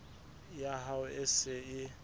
ya hao e se e